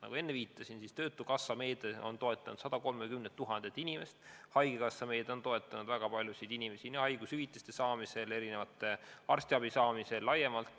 Nagu ma enne viitasin, töötukassa meede on toetanud 130 000 inimest, haigekassa meede on toetanud väga paljusid inimesi nii haigushüvitiste saamisel kui ka arstiabi saamisel laiemalt.